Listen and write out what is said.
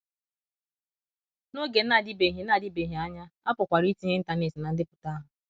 N’oge na - adịbeghị na - adịbeghị anya, a pụkwara itinye Internet ná ndepụta ahụ.